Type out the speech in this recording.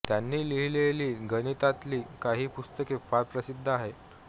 त्यांनी लिहीलेली गणितातील काही पुस्तके फार प्रसिद्ध आहेत